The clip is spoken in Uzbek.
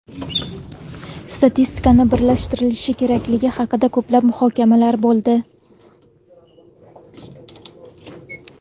Statistika birlashtirilishi kerakligi haqida ko‘plab muhokamalar bo‘ldi.